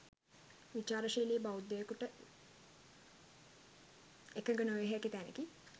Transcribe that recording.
විචාරශීලි බෞද්ධයෙකුට එකඟ නොවිය හැකි තැනකි.